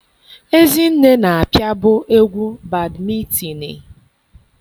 Ezinne na-apịabu egwu badmịtinịị.